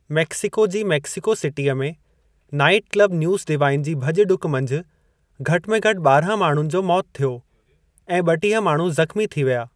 Mexico जी Mexico सिटीअ में नाइटक्लब न्यूज़ डिवाइन जी भॼ डुक मंझि घटि मे घटि ॿारहं माण्हुनि जो मौत थियो ऐं ॿटीह माण्हू ज़ख़्मी थी विया।